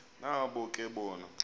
nabo ke bona